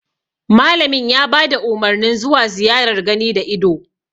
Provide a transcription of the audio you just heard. Malamin ya bada Umarnin zuwa ziyarar gani da ido